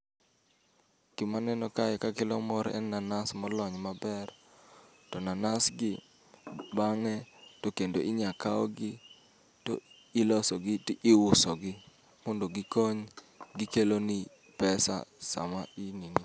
Gima neno kae ka kelo mor en nanas molony maber, to nanas gi bang'e to kendo inya kaw gi to iloso gi to iuso gi. Mondo gikony, gikeloni pesa sama i nini.